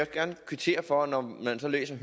gerne kvittere for at når man så læser